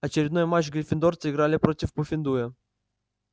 очередной матч гриффиндорцы играли против пуффендуя